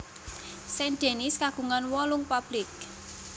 Saint Denis kagungan wolung publik